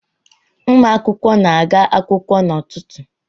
Ụmụ akwụkwọ na-aga akwụkwọ n’ụtụtụ